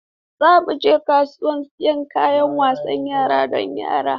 Za mu je kasuwa don siyan kayan wasan yara don yaran.